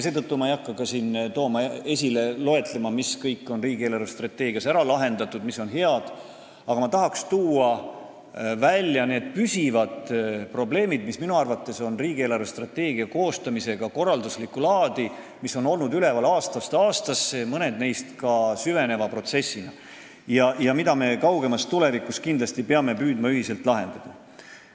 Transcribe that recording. Seetõttu ei hakka ma loetlema, mis probleemid kõik on riigi eelarvestrateegias ära lahendatud, mis seal on head, aga ma tahan tuua välja need püsivad probleemid riigi eelarvestrateegia koostamisel, mis minu arvates on korralduslikku laadi ja mis on olnud üleval aastast aastasse, mõned neist on ka protsessina süvenenud, ja kaugemas tulevikus me peame kindlasti püüdma neid ühiselt lahendada.